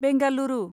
Bengaluru